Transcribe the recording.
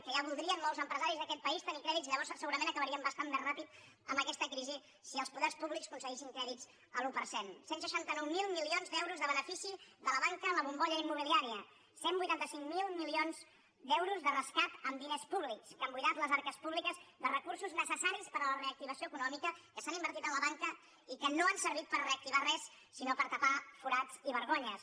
que ja voldrien molts empresaris d’aquest país tenir crèdits llavors segurament acabaríem bastant més ràpidament amb aquesta crisi si els poders públics concedissin crèdits a l’un per cent cent i seixanta nou mil milions d’euros de benefici de la banca en la bombolla immobiliària cent i vuitanta cinc mil milions d’euros de rescat en diners públics que han buidat les arques públiques de recursos necessaris per a la reactivació econòmica que s’han invertit a la banca i que no han servit per reactivar res sinó per tapar forats i vergonyes